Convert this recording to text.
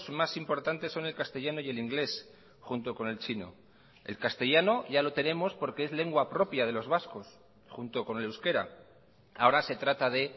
más importantes son el castellano y el inglés junto con el chino el castellano ya lo tenemos porque es lengua propia de los vascos junto con el euskera ahora se trata de